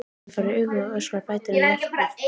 Hann fær augu og öskrar, bætir hann við jafn oft.